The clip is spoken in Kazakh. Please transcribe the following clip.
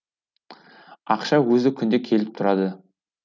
ақша өзі күнде келіп тұрады